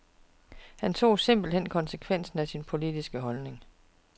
Han tog simpelt hen konsekvensen af sin politiske holdning.